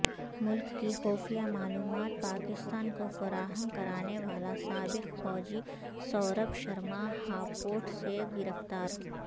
ملک کی خفیہ معلومات پاکستان کو فراہم کرانےوالا سابق فوجی سوربھ شرماہاپوڑسےگرفتار